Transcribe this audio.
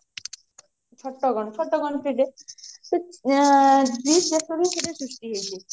ଛୋଟ ଛୋଟ country ଟେ ସେ ଏଁ ଗ୍ରୀସ ଦେଶରୁ ସେଇଟା ସୃଷ୍ଟି ହେଇଛି